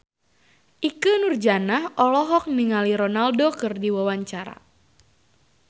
Ikke Nurjanah olohok ningali Ronaldo keur diwawancara